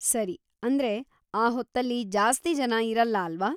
ಸರಿ, ಅಂದ್ರೆ ಆ ಹೊತ್ತಲ್ಲಿ ಜಾಸ್ತಿ ಜನ ಇರಲ್ಲ ಅಲ್ವಾ?